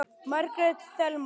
Margrét Thelma.